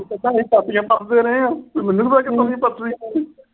ਕਹਿੰਦੇ ਅਸੀਂ ਪਾਥੀਆਂ ਪਥਦੇ ਰਹੇ ਆਂ, ਮੈਨੂੰ ਨੀ ਪਤਾ ਕਿਵੇਂ ਪਥਨੀ ਪਾਥੀ।